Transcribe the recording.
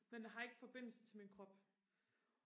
men jeg har ikke forbindelse til min krop